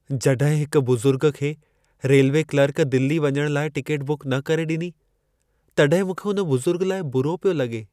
जॾहिं हिक बुज़ुर्ग खे रेलवे क्लर्क दिल्लीअ वञण लाइ टिकेट बुक न करे ॾिनी, तॾहिं मूंखे हुन बुज़ुर्ग लाइ बुरो पियो लॻे।